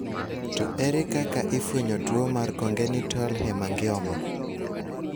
To ere kaka ifwenyo tuo mar congenital hemangioma?